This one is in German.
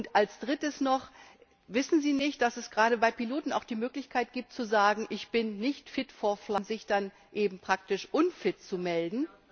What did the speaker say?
Und als Drittes noch Wissen Sie nicht, dass es gerade bei Piloten auch die Möglichkeit gibt zu sagen, ich bin nicht und sich dann eben praktisch unfit zu melden?